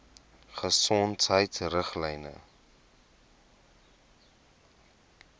gesondheidriglyne